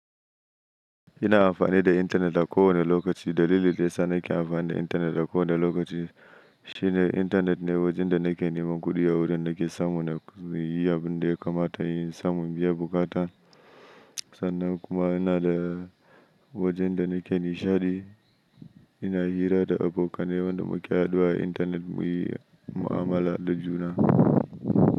Ina amfani da intanet a kowane lokaci. Dalilin da yana sa nake amfani da intanet a kowane lokaci shine intanet ne wajen da na ke neman kudi a wurin da ke samo na yi abin da ya kamata, yin samun biya bukatan. Sannan kuma yana da wajen da na ke nishaɗi. Ina hira da abokanai waɗanda mu ke haduwa a intanet muyi mu'amala da juna.